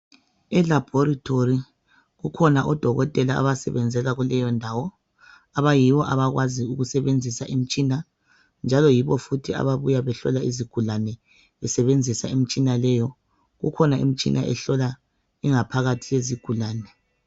Elabhorithori kukhona odokotela osebenzela kuleyo indawo, abayibo abakwaziyo ukusebenzisa imitshina njalo yibo futhi ababuya behlola izigulane besebenzisa imitshina leyo. Ukhona umitshina ehlola ingaphakathi yezigulane.